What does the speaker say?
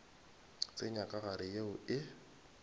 tsenya ka gare yeo e